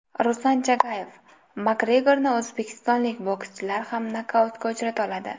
Ruslan Chagayev: Makgregorni o‘zbekistonlik bokschilar ham nokautga uchrata oladi.